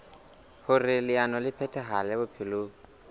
hoer leano le phethahale bophelong